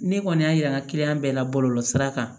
Ne kɔni y'a yira n ka bɛɛ la bɔlɔlɔsira kan